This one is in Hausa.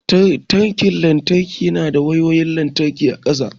Tirken lantarki na da wayoyin lantarki a kansa.